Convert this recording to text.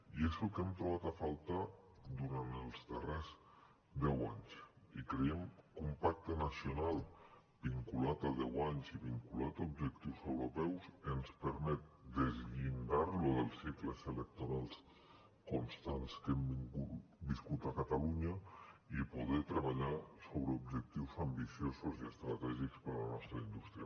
i és el que hem trobat a faltar durant els darrers deu anys i creiem que un pacte nacional vinculat a deu anys i vinculat a objectius europeus ens permet deslligar lo dels cicles electorals constants que hem viscut a catalunya i poder treballar sobre objectius ambiciosos i estratègics per a la nostra indústria